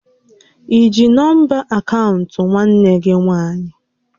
I ji nọmba akaụntụ nwanne gị nwaanyị?